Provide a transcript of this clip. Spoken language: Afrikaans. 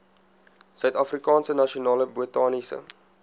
suidafrikaanse nasionale botaniese